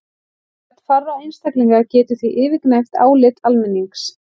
Rödd fárra einstaklinga getur því yfirgnæft álit almennings.